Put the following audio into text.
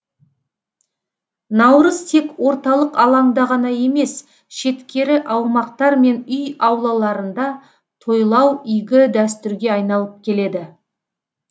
наурыз тек орталық алаңда ғана емес шеткері аумақтар мен үй аулаларында тойлау игі дәстүрге айналып келеді